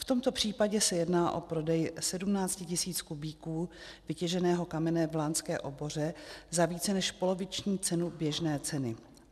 V tomto případě se jedná o prodej 17 tisíc kubíků vytěženého kamene v lánské oboře za více než poloviční cenu běžné ceny.